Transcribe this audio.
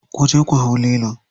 Kuje ku hau lilo.